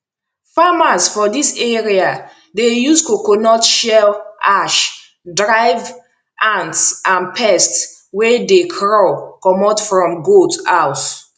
farmers for this area dey use coconut shell ash drive ants and pests wey dey crawl comot from goat house